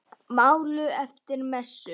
Maul eftir messu.